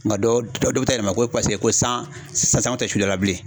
Nka dɔ bɛ taa yɛlɛma ko paseke ko san san na tɛ sudala bilen.